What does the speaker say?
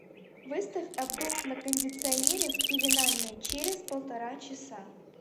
выставь обдув на кондиционере в пеленальной через полтора часа